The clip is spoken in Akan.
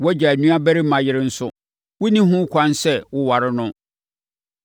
“ ‘Wʼagya nuabarima yere nso, wonni ho ɛkwan sɛ woware no.